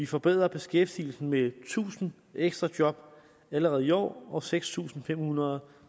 forbedrer beskæftigelsen med tusind ekstra job allerede i år og seks tusind fem hundrede